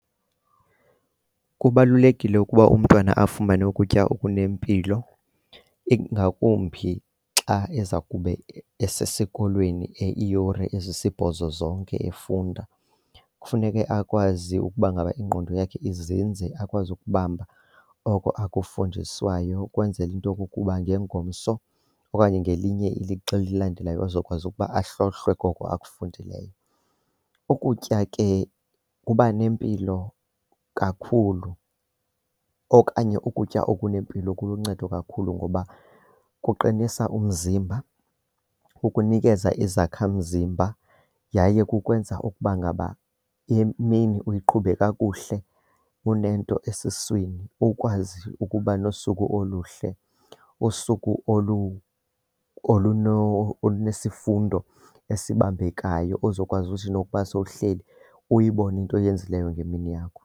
Kubalulekile ukuba umntwana afumane ukutya okunempilo, ingakumbi xa eza kube esesikolweni iiyure ezisibhozo zonke efunda. Kufuneke akwazi ukuba ngaba ingqondo yakhe izinze, akwazi ukubamba oko akufundiswayo ukwenzela into yokokuba ngengomso okanye ngelinye ilixa elilandelayo azokwazi ukuba ahlolwe koko akufundileyo. Ukutya ke kuba nempilo kakhulu okanye ukutya okunempilo kuluncedo kakhulu ngoba kuqinisa umzimba, kukunikeza izakhamzimba yaye kukwenza ukuba ngaba imini uyiqhube kakuhle unento esiswini. Ukwazi ukuba nosuku oluhle, usuku olunesifundo esibambekayo ozokwazi uthi nokuba sowuhleli uyibone into oyenzileyo ngemini yakho.